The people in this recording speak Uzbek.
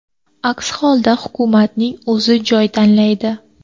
Aks holda hukumatning o‘zi joy tanlaydi.